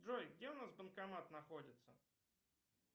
джой где у нас банкомат находится